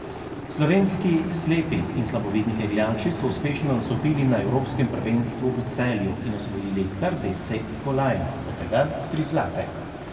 Slovenski slepi in slabovidni kegljači so uspešno nastopili na evropskem prvenstvu v Celju in osvojili kar deset kolajn, od tega tri zlate.